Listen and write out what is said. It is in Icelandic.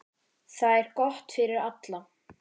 Það er gott fyrir alla.